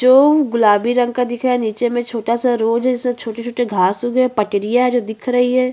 जो white colour का दिख रहा है ऊपर का छज्जा है।